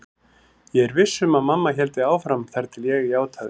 Ég var viss um að mamma héldi áfram þar til ég játaði.